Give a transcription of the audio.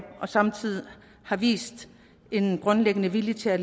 og samtidig have vist en grundlæggende vilje til at